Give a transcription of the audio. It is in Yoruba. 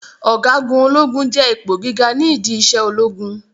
Ọ̀gágun ológun jẹ́ ipò gíga ni ìdí isẹ ológun